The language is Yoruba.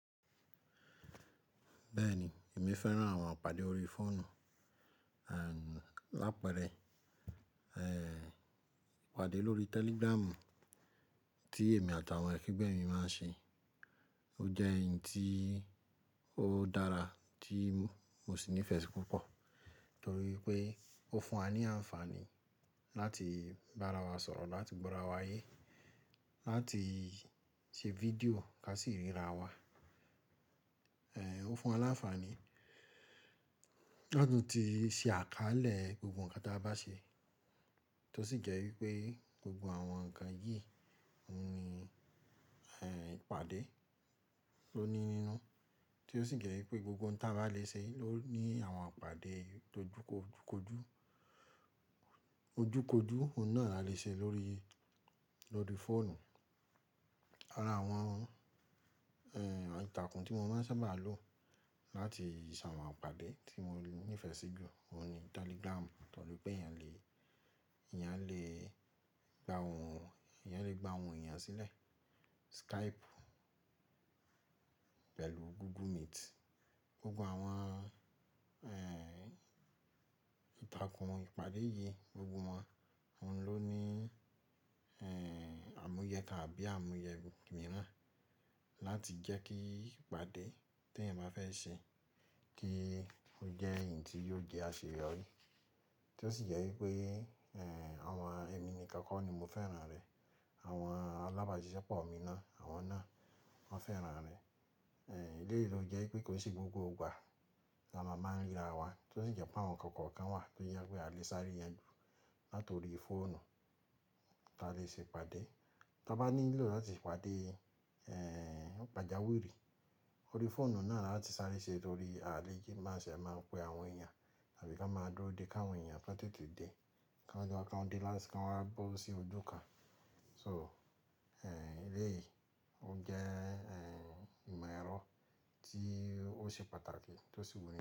Bẹ́ẹ̀ni, èmi fẹ́ran àwọn ìpàdé ori fọ́ọ̀nù, àpẹẹrẹ ìpàdé lórí Telegram tí èmi àti àwọn akegbe mi máa ń ṣe. Ó jẹ́ ẹyii tó dára tí mo sì nífẹ̀ẹ́ sí púpọ̀ torí pé ó fún wa ní àǹfààní láti bára wa sọ̀rọ̀, láti gbọ́ra wa ayé, láti ṣe fídíò ká sì ríra wa. Ó fún wa láǹfààní lá tun ti ṣe àkálẹ̀ gbogbo ǹkan tí a bá ṣe, tó sì jẹ́ wípé gbogbo àwọn ǹkan yìí ní ehn ìpàdé ló ní nínú, tí ó sì jẹ́ wípé gbogbo ǹkan tí a bá lè ṣe ló ní àwọn ìpàdé ojúkojú. Ojúkojú, òun náà la lè ṣe lórí fóònù. Ara àwọn ìtàkùn tí mo máa ń sábà lò láti ṣe àwọn ìpàdé tí mo nífẹ̀ẹ́ sí jù ó ní Telegram torí pé eyán lè eyan le gba òun, eyán lè gba òhun eyán sílẹ̀. Skype pẹ̀lú Google Meet. Gbogbo àwọn ehn ìtàkùn ìpàdé yìí, gbogbo wọn oun ló ní ehn àmúyẹ kan àbí àmúyẹ mìíràn láti jẹ́ kí ìpàdé tí ẹ̀yin bá fẹ́ ṣe kí ó jẹ́ ẹ̀yii tí yóò jẹ́ àṣeyọrí. Tó sì jẹ́ wípé ehn àwọn ẹmi nìkan kọ́ ni mo fẹ́ran rẹ̀, àwọn alábàáṣiṣẹ́ pọ̀ mi náà, àwọn náà wọ́n fẹ́ran rẹ̀. Eleyìí ló jẹ́ wípé kò kin se gbogbo ìgbà ní a máa ń ríra wa, tó sì jẹ́ pé àwọn kọ̀ọ̀kan kọ̀ọ̀kan wà tó je pé a lè sáré yan ju láti orí fóònù tí a lè ṣe ìpàdé. Ta bá nílò láti pàdé, ehn pàjáwùrí orí fóònù náà la tí sáré ṣe torí a lè jí máa sì máa pe àwọn èèyàn àbí ká máa dúró de ká àwọn èèyàn fẹ́ tì to dé, kán de kanj wá bọ́ sí oju kan. So eleyìí ó jẹ́ ìmọ̀ ẹ̀rọ tí ó ṣe pàtàkì tó sì wù ní.